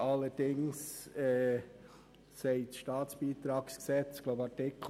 Allerdings sagt das Staatsbeitragsgesetz (SBG) etwas dazu, ich glaube in Artikel 5.